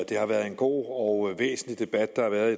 det har været en god og væsentlig debat der har været